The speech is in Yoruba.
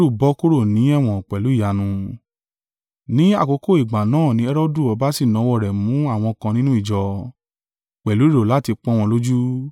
Ní àkókò ìgbà náà ni Herodu ọba sì nawọ́ rẹ̀ mú àwọn kan nínú ìjọ, pẹ̀lú èrò láti pọ́n wọn lójú.